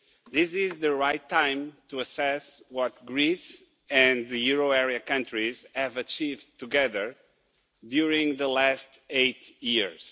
This is the right time to assess what Greece and the euro area countries have achieved together during the last eight years.